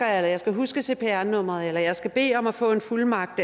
jeg skal huske cpr nummeret jeg skal bede om at få en fuldmagt